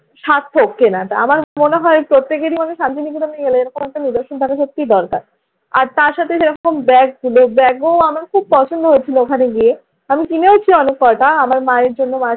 সার্থক কেনাটা। আমার মনে হয় প্রত্যেকেরই মনে হয় শান্তিনিকেতনে গেলে এরকম একটা নিদর্শন থাকা সত্যিই দরকার। আর তার সাথে সেই রকম ব্যাগগুলো, ব্যাগও আমার খুব পছন্দ হচ্ছিল ওখানে গিয়ে। আমি কিনেওছি অনেক কয়টা আমার মায়ের জন্য।